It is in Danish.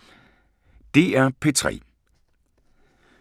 DR P3